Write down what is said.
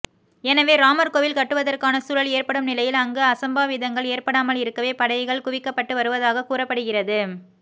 எனவே ராமர் கோவில் கட்டுவதற்கான சூழல் ஏற்படும் நிலையில் அங்கு அசம்பாவிதங்கள் ஏற்படாமல் இருக்கவே படைகள் குவிக்கப்பட்டு வருவதாக கூறப்படுகிறது